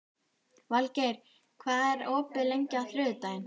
Valgeir, hvað er opið lengi á þriðjudaginn?